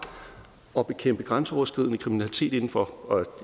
at bekæmpe grænseoverskridende kriminalitet inden for og